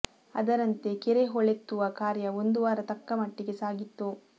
ಅದರಂತೆ ಕೆರೆ ಹೂಳೆತ್ತುವ ಕಾರ್ಯ ಒಂದು ವಾರ ತಕ್ಕ ಮಟ್ಟಿಗೆ ಸಾಗಿತ್ತು